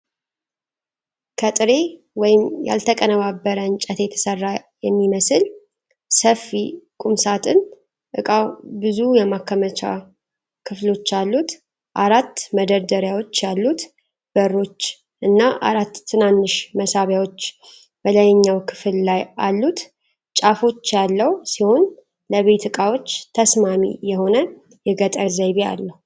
ከጥሬ ወይም ያልተቀነባበረ እንጨት የተሰራ የሚመስል ሰፊ ቁም ሣጥን እቃው ብዙ የማከማቻ ክፍሎች አሉት: አራት መደርደሪያዎች ያሉት በሮች እና አራት ትናንሽ መሳቢያዎች በላይኛው ክፍል ላይ አሉት። ጫፎች ያለው ሲሆን ለቤት ዕቃዎች ተስማሚ የሆነ የገጠር ዘይቤ አለው።